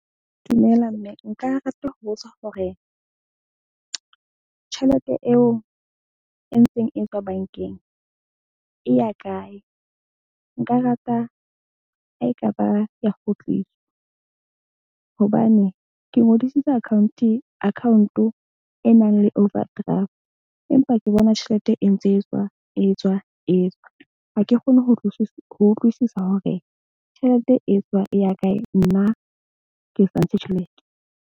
Dumela mme nka rata ho botsa hore tjhelete eo e ntseng e tswa bank-eng e ya kae? Nka rata ha ekaba ya kgutliswa hobane ke ngodisitse account e nang le overdraft, empa ke bona tjhelete e ntse e tswa e tswa e tswa. Ha ke kgone ho ho utlwisisa hore tjhelete e tswa e ya kae. Nna ke sa tjhelete.